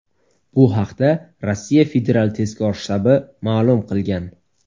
Bu haqda Rossiya federal tezkor shtabi ma’lum qilgan .